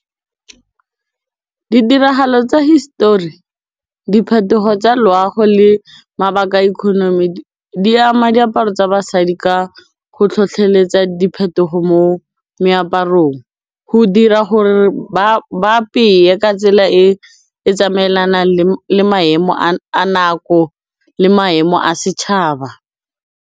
Ditiragalo tsa hisetori, diphetogo tsa loago le mabaka a economy di ama diaparo tsa basadi ka go tlhotlheletsa diphetogo mo meaparong, go dira gore ba apeye ka tsela e e tsamaelanang le maemo a nako le maemo a setšhaba.